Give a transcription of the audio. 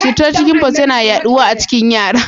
Cutar chicken pox yana yaɗuwa a cikin yara.